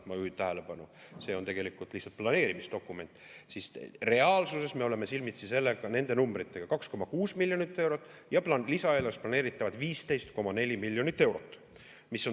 Ma juhin tähelepanu, et see on tegelikult lihtsalt planeerimisdokument ja reaalsuses me oleme silmitsi nende numbritega: 2,6 miljonit eurot ja lisaeelarves planeeritavad 15,4 miljonit eurot.